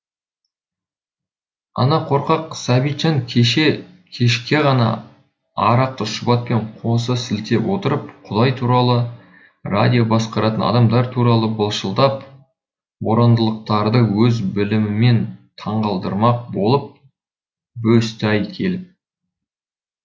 ана қорқақ сәбитжан кеше кешке ғана арақты шұбатпен қоса сілтеп отырып құдай туралы радио басқаратын адамдар туралы былшылдап борандылықтарды өз білімімен таңғалдырмақ болып бөсті ай келіп